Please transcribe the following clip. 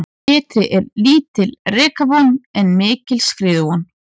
Betri er lítil rekavon en mikil skriðuvon.